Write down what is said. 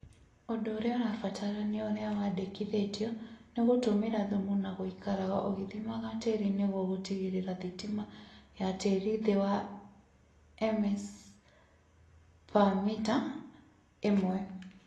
Ũndũ ũrĩa ũrabatarania ũrĩa wandĩkithĩtio nĩ gũtũmĩra thumu na gũikaraga ũgĩthimaga tĩĩri nĩguo gũtigĩrĩra thitima ya tĩĩri ĩthĩ wa mS/m ĩmwe